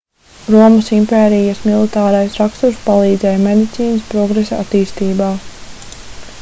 romas impērijas militārais raksturs palīdzēja medicīnas progresa attīstībā